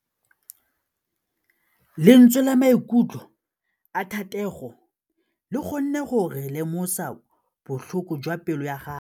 Lentswe la maikutlo a Thategô le kgonne gore re lemosa botlhoko jwa pelô ya gagwe.